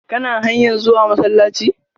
Kana hanyar zuwa masallaci?